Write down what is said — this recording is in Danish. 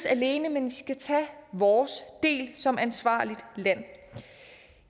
alene men vi skal tage vores del som ansvarligt land